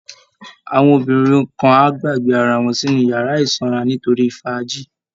Àwọn obìnrin kan á gbàgbé ara wọn sínú yàrá ìsanra nítorí fàájì